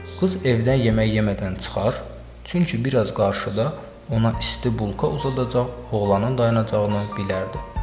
Qız evdən yemək yemədən çıxar, çünki bir az qarşıda ona isti bulka uzadacaq oğlanın dayanacağını bilərdi.